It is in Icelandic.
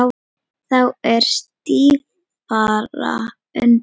Þá er stífara undir.